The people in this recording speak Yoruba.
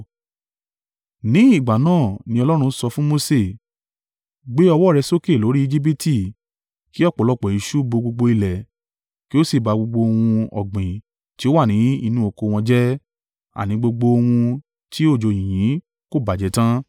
Ní ìgbà náà ni Olúwa sọ fún Mose, “Gbé ọwọ́ rẹ sókè lórí Ejibiti kí ọ̀pọ̀lọpọ̀ eṣú bo gbogbo ilẹ̀, kí ó sì ba gbogbo ohun ọ̀gbìn tí ó wà ni inú oko wọn jẹ́, àní gbogbo ohun tí òjò yìnyín kò bàjẹ́ tan.”